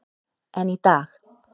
En í dag.